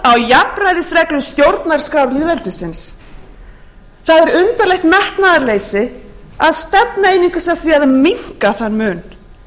jafnræðisreglu stjórnarskrár lýðveldisins það er undarlegt metnaðarleysi að stefna einungis að því að minnka þann mun